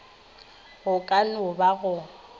go ka no ba go